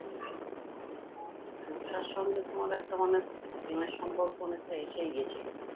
যে রূপসার সঙ্গে তোমার একটা মানে প্রেমের সম্পর্ক অনেকটা এসেই গেছিলো